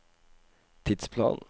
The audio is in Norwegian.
tidsplan